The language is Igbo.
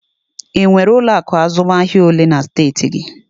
E nwere ụlọ akụ azụmahịa olee na steeti gị?